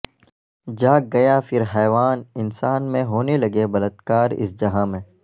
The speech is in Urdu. جاگ گیا پھر حیوان انسان میں ہونے لگے بلت کار اس جہاں میں